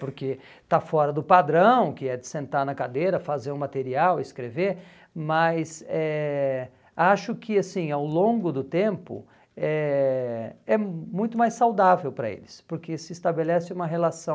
Porque está fora do padrão, que é de sentar na cadeira, fazer o material, escrever, mas eh acho que, assim, ao longo do tempo, eh é muito mais saudável para eles, porque se estabelece uma relação...